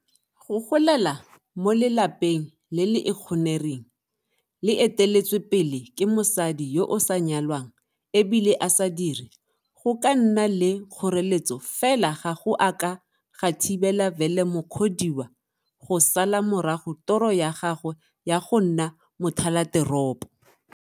Go golela mo lelapeng le le ikgonereng, le eteletswepele ke mosadi yo o sa nyalwanag e bile a sa dire go ka nna le kgoreletso fela ga go a ka ga thibela Vele Mukhodiwa go sala morago toro ya gagwe ya go nna mothalateropo.